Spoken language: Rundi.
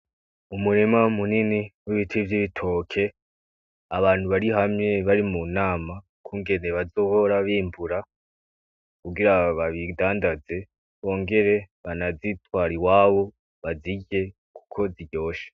Umurima munini w'ibiti vy'bitoki abantu bari hamwe bari mu nama y'ukungene bazohora bimbura kugira babi dandaze bongere bana bitware iwabo babirye kuko biryoshe.